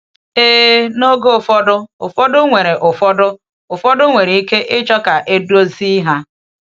Ee, n’oge ụfọdụ, ụfọdụ nwere ụfọdụ, ụfọdụ nwere ike ịchọ ka edozi ha.